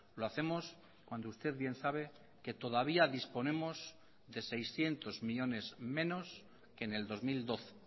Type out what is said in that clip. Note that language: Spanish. lo hacemos cuando usted bien sabe que todavía disponemos de seiscientos millónes menos que en el dos mil doce e